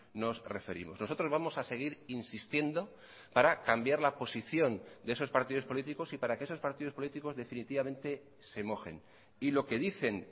nos referimos nosotros vamos a seguir insistiendo para cambiar la posición de esos partidos políticos y para que esos partidos políticos definitivamente se mojen y lo que dicen